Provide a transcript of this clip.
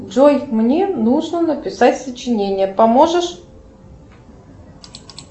джой мне нужно написать сочинение поможешь